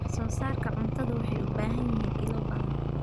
Wax-soo-saarka cuntadu wuxuu u baahan yahay ilo badan.